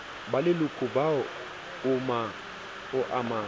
ba leloka boa o amang